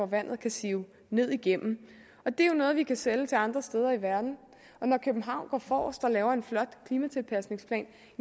vandet kan sive ned igennem og det er jo noget vi kan sælge til andre steder i verden når københavn går forrest og laver en flot klimatilpasningsplan